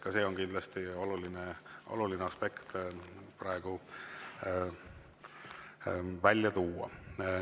Ka see on kindlasti oluline aspekt praegu välja tuua.